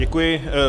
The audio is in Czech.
Děkuji.